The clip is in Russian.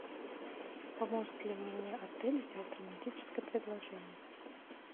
поможет ли мне отель сделать романтическое предложение